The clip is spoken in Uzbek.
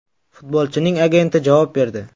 Futbolchining agenti javob berdi.